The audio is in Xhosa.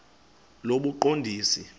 lobuqondisi